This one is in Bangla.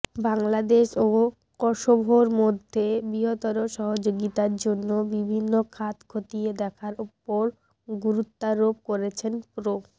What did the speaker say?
বাংলাদেশ ও কসোভোর মধ্যে বৃহত্তর সহযোগিতার জন্য বিভিন্ন খাত খতিয়ে দেখার ওপর গুরুত্বারোপ করেছেন প্র